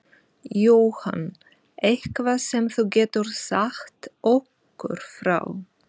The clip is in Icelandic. Jóhann: Eitthvað sem þú getur sagt okkur frá?